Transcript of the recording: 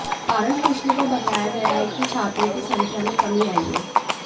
कारण पूछने पर बताया गया है कि छात्रों की संख्या में कमी आई है